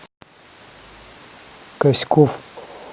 каськов